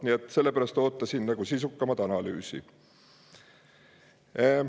Nii et selle pärast ootasin sisukamat analüüsi.